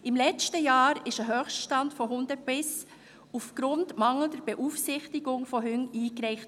Im letzten Jahr wurde ein Höchststand von Hundebissen aufgrund mangelnder Beaufsichtigung erreicht.